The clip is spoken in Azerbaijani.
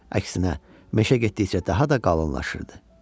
Əksinə, meşə getdikcə daha da qalınlaşırdı.